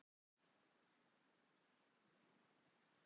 Hvaðan kemur heitið á Grímsvötnum og Grímsfjalli?